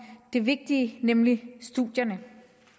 det vigtige nemlig studierne